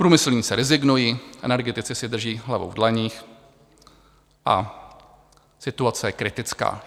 Průmyslníci rezignují, energetici si drží hlavu v dlaních a situace je kritická.